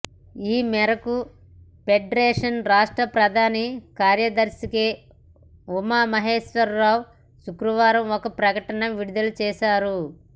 ఈ మేరకు ఫెడరేషన్ రాష్ట్ర ప్రధాన కార్యదర్శి కె ఉమామహేశ్వరరావు శుక్రవారం ఒక ప్రకటన విడుదల చేశారు